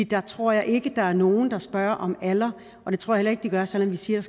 der tror jeg ikke der er nogen der spørger om alder det tror jeg heller ikke der er selv om vi siger